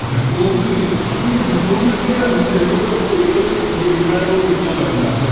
Depository ആണ് പക്ഷെ ഒരു Depository യുടെ അടുത്ത് ചെന്നിട്ട് നമുക്ക് ഒരിക്കലും ഒരു Demat account എടുക്കാൻ പറ്റില്ല